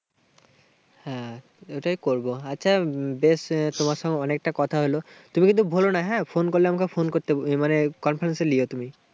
হ্যাঁ, ওটাই করবো। আচ্ছা, বেশ তোমার সঙ্গে অনেকটা কথা হলো। তুমি কিন্তু ভুলো না। হ্যাঁ, phone করলে আমাকে phone মানে তুমি।